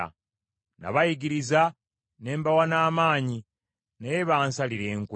Nabayigiriza ne mbawa n’amaanyi, naye bansalira enkwe.